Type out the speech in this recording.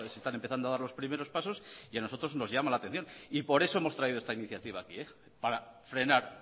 están empezando a dar los primeros pasos y a nosotros nos llama la atención por eso hemos traído esta iniciativa aquí para frenar